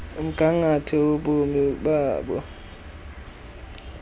umgangatho wobomi babo